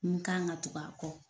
N kan ka tugu a kɔ